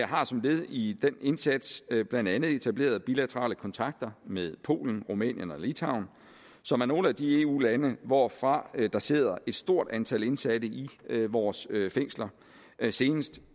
har som led i den indsats blandt andet etableret bilaterale kontakter med polen rumænien og litauen som er nogle af de eu lande hvorfra der sidder et stort antal indsatte i vores fængsler senest